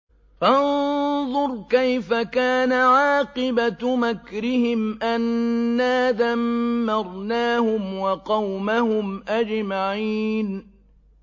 فَانظُرْ كَيْفَ كَانَ عَاقِبَةُ مَكْرِهِمْ أَنَّا دَمَّرْنَاهُمْ وَقَوْمَهُمْ أَجْمَعِينَ